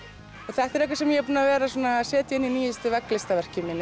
þetta er eitthvað sem ég er búinn að vera að setja inn í nýjustu